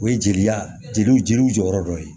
O ye jeliya jeliw jeliw jɔyɔrɔ dɔ ye